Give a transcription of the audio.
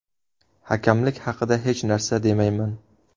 Hakamlik haqida hech narsa demayman.